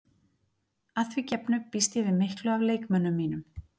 Að því gefnu býst ég við miklu af leikmönnum mínum.